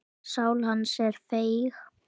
Sál hans er feig.